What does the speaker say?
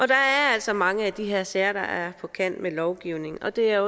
der er altså mange af de her sager der er på kant med lovgivningen og det er